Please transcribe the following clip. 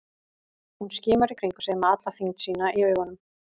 Hún skimar í kringum sig með alla þyngd sína í augunum.